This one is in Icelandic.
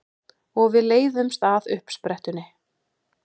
Og við leiðumst að uppsprettunni.